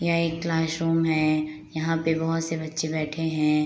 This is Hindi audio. यह क्लासरूम है यहां पर बहुत से बच्चे बैठे हैं।